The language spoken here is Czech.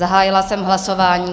Zahájila jsem hlasování.